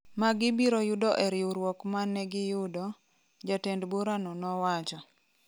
ma gibiro yudo “e riwruok ma ne giyudo,” jatend burano nowacho